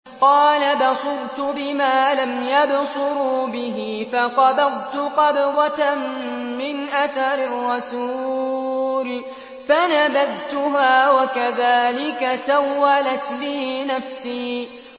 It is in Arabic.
قَالَ بَصُرْتُ بِمَا لَمْ يَبْصُرُوا بِهِ فَقَبَضْتُ قَبْضَةً مِّنْ أَثَرِ الرَّسُولِ فَنَبَذْتُهَا وَكَذَٰلِكَ سَوَّلَتْ لِي نَفْسِي